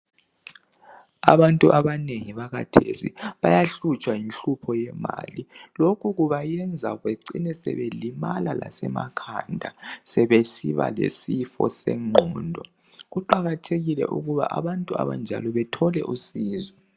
Abantu abanengi bakhathesi bayahlutshwa yinhlupho yemali. Lokhu kubayenza becine sebelimala lasemakhanda, sebesiba lesifo sengqondo. Kuqakathekile ukuba abantu abanjalo bethole usizo.